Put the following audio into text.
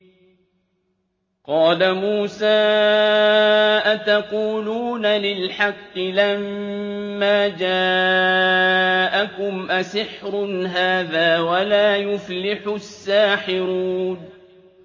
قَالَ مُوسَىٰ أَتَقُولُونَ لِلْحَقِّ لَمَّا جَاءَكُمْ ۖ أَسِحْرٌ هَٰذَا وَلَا يُفْلِحُ السَّاحِرُونَ